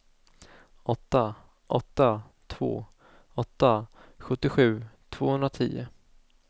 åtta åtta två åtta sjuttiosju tvåhundratio